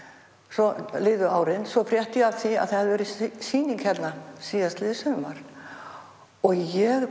svo liðu árin svo frétti ég af því að það hefði verið sýning hérna síðastliðið sumar og ég